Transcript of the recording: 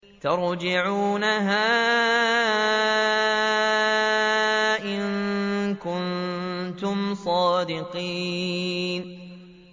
تَرْجِعُونَهَا إِن كُنتُمْ صَادِقِينَ